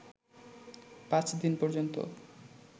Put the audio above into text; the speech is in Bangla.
পাঁচ দিন পর্যন্ত